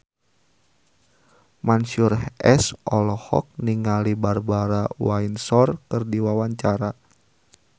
Mansyur S olohok ningali Barbara Windsor keur diwawancara